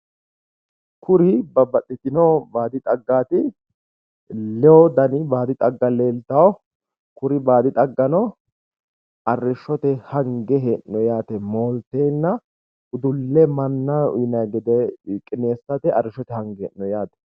Tini baadi xaggati iseno lee danna afidhinotta ikkittanna horonsi'nara arrishote mooshinnara hangonnitta xawissano